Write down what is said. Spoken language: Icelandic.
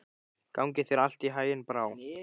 Gangi þér allt í haginn, Brá.